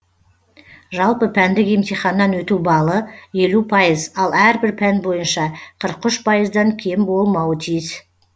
жалпы пәндік емтиханнан өту баллы елу пайыз ал әрбір пән бойынша қырық үш пайыздан дан кем болмауы тиіс